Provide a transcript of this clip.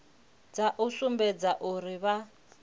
dza u sumbedza uri vha